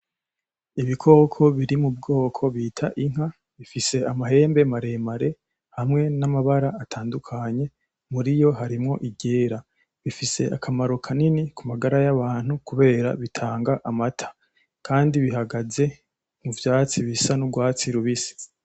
Ibikoko biri mu bwoko bita inka, bifise amahembe maremare hamwe n'amabara atandukanye muriyo harimwo iryera, bifise akamaro kanini kumagara y'abantu kubera bitanga amata, kandi bihagaze mu vyatsi bisa n'urwatsi rubisi.